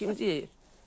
Kim deyir?